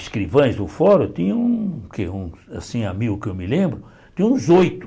Escrivãs do fórum tinham, o que assim amigo que eu me lembro, tinham uns oito.